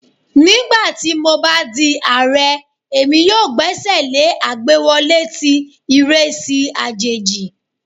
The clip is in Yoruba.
Nigbati mo ba di Aare, Emi yoo gbesele agbewọle ti iresi ajeji